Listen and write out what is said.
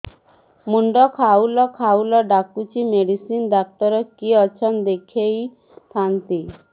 ମୁଣ୍ଡ ଖାଉଲ୍ ଖାଉଲ୍ ଡାକୁଚି ମେଡିସିନ ଡାକ୍ତର କିଏ ଅଛନ୍ ଦେଖେଇ ଥାନ୍ତି